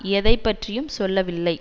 எதை பற்றியும் சொல்லவில்லை